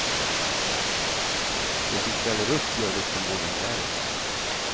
De som ställer upp gör det som volontärer.